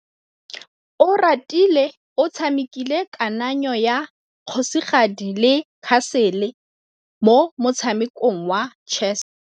Oratile o tshamekile kananyô ya kgosigadi le khasêlê mo motshamekong wa chess.